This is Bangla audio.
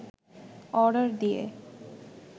অর্ডার দিয়ে